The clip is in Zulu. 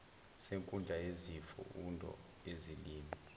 senkundla yesifundo yezilimi